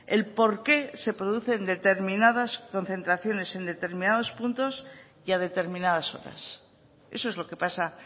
el por qué se producen determinadas concentraciones en determinados puntos y a determinadas horas eso es lo que pasa